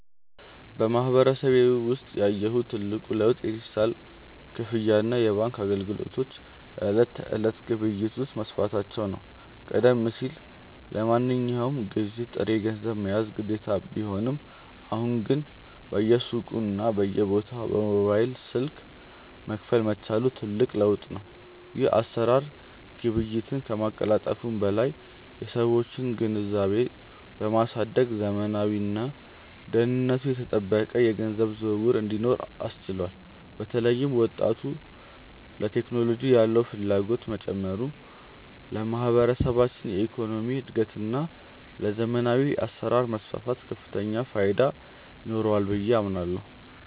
በማህበረሰቤ ውስጥ ያየሁት ትልቁ ለውጥ የዲጂታል ክፍያና የባንክ አገልግሎቶች በዕለት ተዕለት ግብይት ውስጥ መስፋፋታቸው ነው። ቀደም ሲል ለማንኛውም ግዢ ጥሬ ገንዘብ መያዝ ግዴታ ቢሆንም፣ አሁን ግን በየሱቁና በየቦታው በሞባይል ስልክ መክፈል መቻሉ ትልቅ ለውጥ ነው። ይህ አሰራር ግብይትን ከማቀላጠፉም በላይ የሰዎችን ግንዛቤ በማሳደግ ዘመናዊና ደህንነቱ የተጠበቀ የገንዘብ ዝውውር እንዲኖር አስችሏል። በተለይም ወጣቱ ለቴክኖሎጂ ያለው ፍላጎት መጨመሩ ለማህበረሰባችን የኢኮኖሚ እድገትና ለዘመናዊ አሰራር መስፋፋት ከፍተኛ ፋይዳ ይኖረዋል ብዬ አምናለሁ።